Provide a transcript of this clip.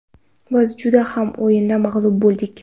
Biz juda kam o‘yinda mag‘lub bo‘ldik.